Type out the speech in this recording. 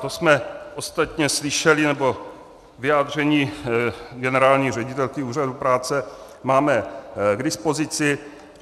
To jsme ostatně slyšeli, nebo vyjádření generální ředitelky úřadu práce máme k dispozici.